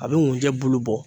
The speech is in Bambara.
A bɛ nkunjɛ bulu bɔ.